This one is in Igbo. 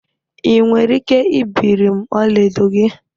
Ị nwere ike ibiri m ọlaedo gị?